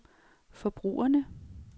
forbrugerne